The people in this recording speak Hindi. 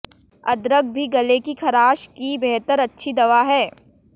अदरक भी गले की खराश की बेहद अच्छी दवा है